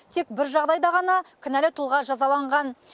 тек бір жағдайда ғана кінәлі тұлға жазаланған